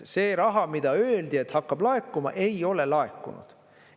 See raha, mida öeldi, et hakkab laekuma, ei ole laekunud.